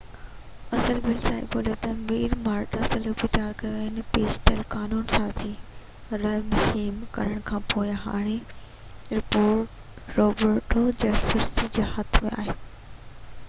اصل بل Sao Paulo جي ميئر مارٽا سوپليسي تيار ڪيو هو پيش ٿيل قانون سازي ترميم ڪرڻ کانپوءِ هاڻي روبرٽو جيفرسن جي هٿ ۾ آهي